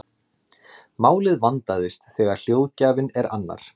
málið vandast þegar hljóðgjafinn er annar